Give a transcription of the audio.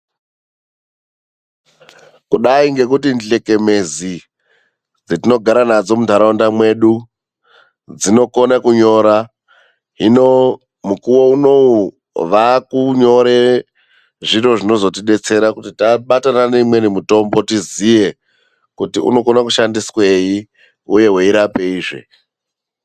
Kudai ngekuti hlekemezi dzatogara nadzo muntaraunda mwedu dzinokona kunyora, hino mukuwo unowu vakunyore zviro zvinozotidetsera kuti tabatana neimweni mitombo tizive kuti unoshandiswei uye weirapeizve.